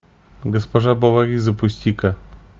госпожа бовари запусти ка